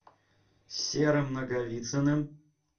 серым наговицыным